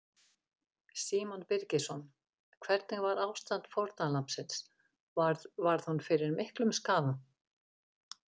Símon Birgisson: Hvernig var ástand fórnarlambsins, varð, varð hún fyrir miklum skaða?